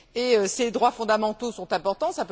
Et ces droits fondamentaux sont importants.